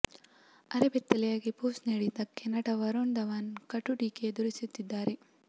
ಅರೆಬೆತ್ತಲಾಗಿ pose ನೀಡಿದ್ದಕ್ಕೆ ನಟ ವರುಣ್ ಧವನ್ ಕಟು ಟೀಕೆ ಎದುರಿಸುತ್ತಿದ್ದಾರೆ